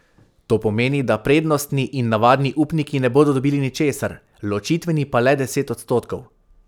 To pomeni, da prednostni in navadni upniki ne bodo dobili ničesar, ločitveni pa le deset odstotkov.